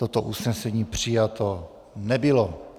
Toto usnesení přijato nebylo.